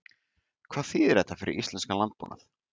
Hvað þýðir þetta fyrir íslenskan landbúnað?